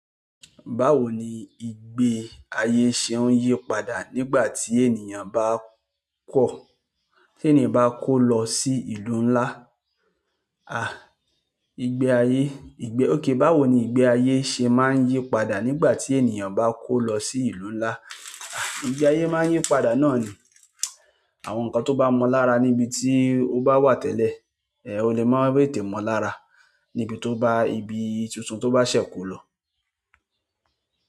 Báwo ni ìgbé ayé ṣe ń yí padà nígbà tí ènìyàn bá kọ̀, tí ènìyàn bá kó lọ sí ìlú ńlá? Ìgbẹ́ ayé, OK, báwo ni ìgbé ayé ṣe má ń yí padà nígbà tí ènìyàn bá kọ lọ sí ìlú ńlá. Ìgbé ayé máa ń yí padà náà ni àwọn nǹkan tó bá mọ lára níbi tí ó bá wà tẹ́lẹ̀, ò lè máa tètè mọ lára níbi tó bá ibi tuntun tó bá ṣẹ̀ kó lọ.